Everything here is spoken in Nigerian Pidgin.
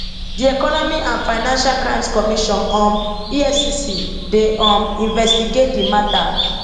di economic and financial crimes commission um efcc dey um investigate di mata